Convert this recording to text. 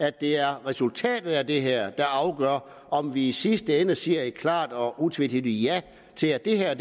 at det er resultatet af det her der afgør om vi i sidste ende siger et klart og utvetydigt ja til at det her er